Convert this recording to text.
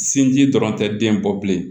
Sinji dɔrɔn tɛ den bɔ bilen